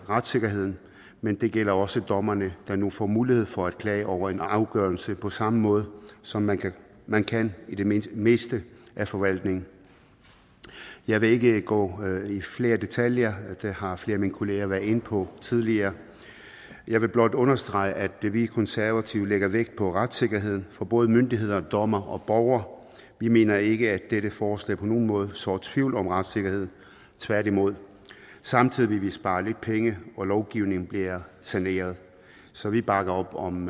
retssikkerheden men det gælder også dommerne der nu får mulighed for at klage over en afgørelse på samme måde som man kan man kan i det meste af forvaltningen jeg vil ikke gå i flere detaljer det har flere af mine kollegaer har været inde på tidligere jeg vil blot understrege at vi konservative lægger vægt på retssikkerheden for både myndigheder dommere og borgere vi mener ikke at dette forslag på nogen måde sår tvivl om retssikkerheden tværtimod samtidig vil vi spare lidt penge og lovgivningen bliver saneret så vi bakker op om